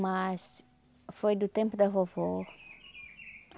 Mas foi do tempo da vovó.